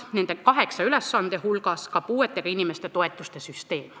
Nende kaheksa ülesande hulgas on ka puudega inimeste toetuste süsteem.